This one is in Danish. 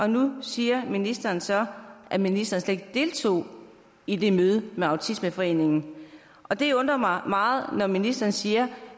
nu siger ministeren så at ministeren slet deltog i det møde med autismeforeningen og det undrer mig meget når ministeren siger